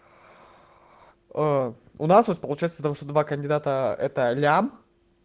а у нас вот получается том что два кандидата это миллион